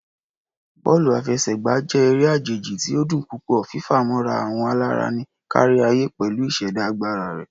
Bọọlu afẹsẹgba jẹ ere ajeji ti o dun pupọ, fifamọra awọn alara ni kariaye pẹlu iseda agbara rẹ.